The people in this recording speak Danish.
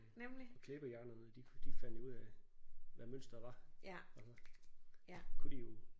Og klæbehjernerne de de fandt jo ud af hvad mønsteret var og så kunne de jo